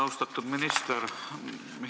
Austatud minister!